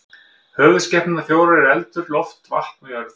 Höfuðskepnurnar fjórar eru eldur, loft, vatn og jörð.